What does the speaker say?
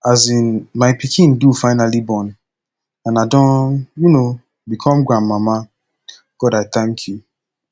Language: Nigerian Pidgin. um my pikin do finally born and i don um become grandmama god i thank you